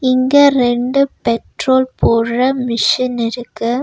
இங்க ரெண்டு பெட்ரோல் போட்ற மிஷின் இருக்கு.